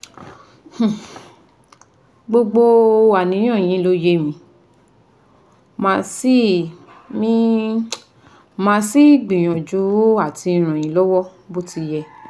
um Gbogbo àníyàn yín ló yé mi màá sì mi màá sì gbìyànjú àti ràn yín lọ́wọ́ bó ti yẹ